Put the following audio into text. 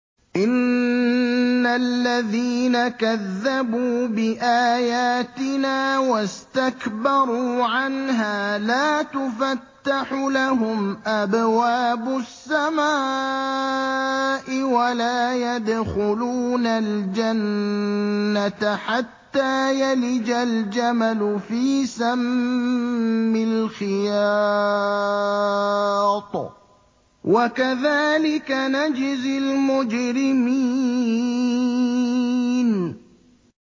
إِنَّ الَّذِينَ كَذَّبُوا بِآيَاتِنَا وَاسْتَكْبَرُوا عَنْهَا لَا تُفَتَّحُ لَهُمْ أَبْوَابُ السَّمَاءِ وَلَا يَدْخُلُونَ الْجَنَّةَ حَتَّىٰ يَلِجَ الْجَمَلُ فِي سَمِّ الْخِيَاطِ ۚ وَكَذَٰلِكَ نَجْزِي الْمُجْرِمِينَ